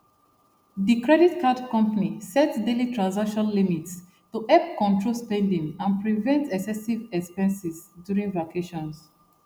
the credit card company set daily transaction limits to help control spending and prevent excessive expenses during vacations